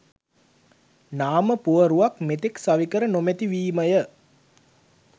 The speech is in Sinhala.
නාම පුවරුවක් මෙතෙක් සවිකර නොමැතිවීමය.